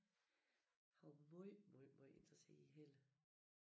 Han var måj måj måj interesseret i Helle